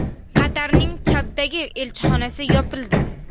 Qatarning Chaddagi elchixonasi yopildi.